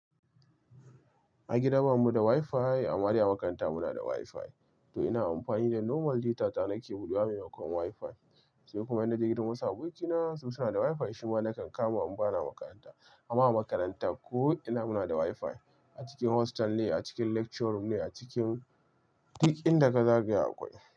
A gida bamu da wifi, amma deba makaranta muna da wifi. Toh ina amfani da normal data na nake budewa maimakon wifi. Sai kuma ina je gidan wasu abokina su suna da wifi, shi ma nakan kama in ba na makaranta. Amma a makaranta ko'ina muna da wifi, a cikin hostel ne, a cikin lecture room ne, a cikin dik inda ka zagaya akwai.